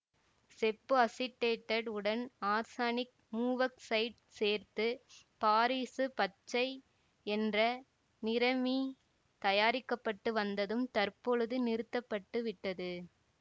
செப்புஅசிட்டேட்டட் உடன் ஆர்சனிக் மூவாக்சைடு சேர்த்து பாரிசு பச்சை என்ற நிறமி தயாரிக்க பட்டு வந்ததும் தற்பொழுது நிறுத்த பட்டு விட்டது